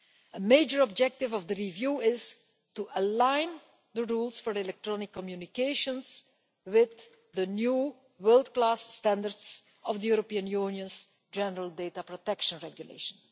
A major objective of the review is to align the rules for electronic communications with the new world class standards of the European Union's General Data Protection Regulation.